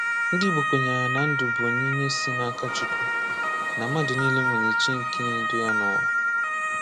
Ndị Igbo kwenyere na ndụ bụ onyinye si n’aka Chukwu, na mmadụ niile nwere Chi nke na-edu ya n’ụwa.